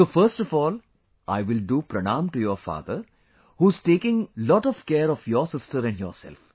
so first of all I will do Pranaam to your father who is taking lot of care of your sister and yourself